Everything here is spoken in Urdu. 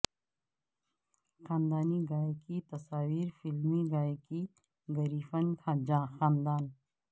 خاندانی گائے کی تصاویر فیملی گائے کی گریفن خاندان